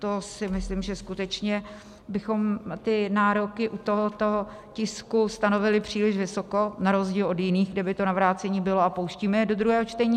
To si myslím, že skutečně bychom nároky u tohoto tisku stanovili příliš vysoko na rozdíl od jiných, kde by to na vrácení bylo, a pouštíme je do druhého čtení.